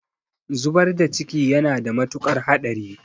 Zubar da ciki yana da mutuƙar haɗari.